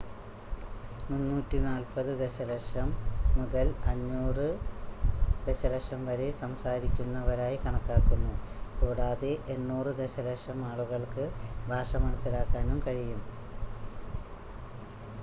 340 ദശലക്ഷം മുതൽ 500 ദശലക്ഷം വരെ സംസാരിക്കുന്നവരായി കണക്കാക്കുന്നു കൂടാതെ 800 ദശലക്ഷം ആളുകൾക്ക് ഭാഷ മനസ്സിലാക്കാനും കഴിയും